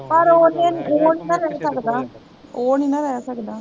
ਪਰ ਓਹਨੇ ਨੀ ਓਹ ਨੀ ਨਾ ਰਹਿ ਸਕਦਾ ਓਹ ਨੀ ਨਾ ਰਹਿ ਸਕਦਾ